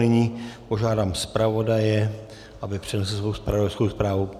Nyní požádám zpravodaje, aby přednesl svou zpravodajskou zprávu.